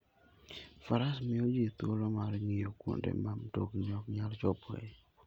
Faras miyo ji thuolo mar ng'iyo kuonde ma mtokni ok nyal chopoe.